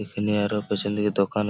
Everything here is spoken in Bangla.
এখানে আর ও পিছন দিকে দোকান--